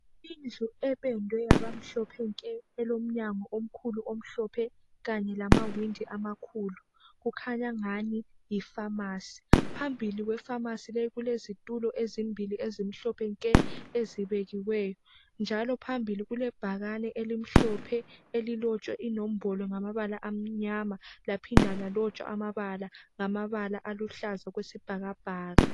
Indlu ependwe yaba mhlophe nke elomnyango omkhulu omhlophe kanye lamawindi amakhulu. Kukhanya angani yi phamarcy. Phambili kwepharmacy leyi kulezitulo ezimbili ezimhlophe nke ezibekiweyo njalo phambili kulebhakani elimhlophe elilotshwe inombolo ngamabala amanyama laphinda lalotshwa amabala ngamabala aluhlaza okwesibhakabhaka